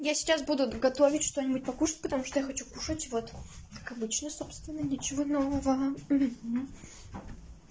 я сейчас буду готовить что-нибудь покушать потому что я хочу кушать вот как обычно собственно ничего нового